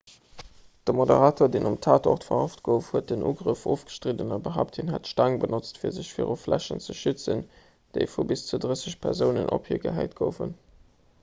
de moderator deem um tatort verhaft gouf huet den ugrëff ofgestridden a behaapt hien hätt d'staang benotzt fir sech viru fläschen ze schützen déi vu bis zu drësseg persounen op hie gehäit goufen